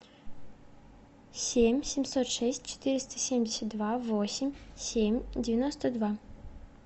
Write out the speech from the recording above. семь семьсот шесть четыреста семьдесят два восемь семь девяносто два